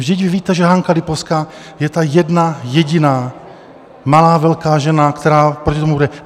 Vždyť vy víte, že Hanka Lipovská je ta jedna jediná malá velká žena, která proti tomu jde.